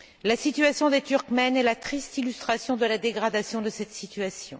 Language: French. La situation des Turkmènes est la triste illustration de la dégradation de cette situation.